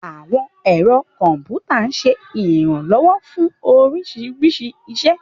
Àwọn ẹ̀rọ kọ̀m̀pútà ń ṣe ìrànlọ́wọ́ fún oríṣiríṣi iṣẹ́.